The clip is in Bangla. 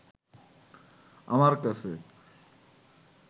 আমার কাছে